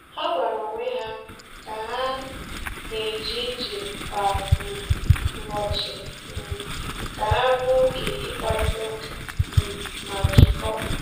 Ha gwara onwe ha ka ha na-eje ije kwa um ụbọchị um ka ha nwee oge ịkparịta ụka um ma jikọọ.